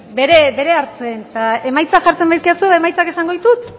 bere hartzen eta emaitzak jartzen badizkidazue emaitzak esango ditut